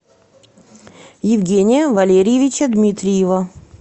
евгения валерьевича дмитриева